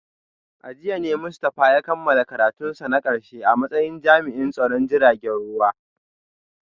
A jiya ne Mustafa ya kammala karatunsa na karshe a matsayin jami’in tsaron jiragen ruwa